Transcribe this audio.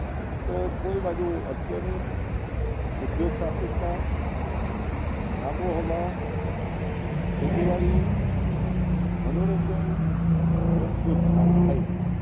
તો કોઈ બાજુ અટકે નહી ઉધ્યોગ્શાખીકતા આબોહવા ખેતીવાડી મનોરંજન બધું જ સારું થાય છે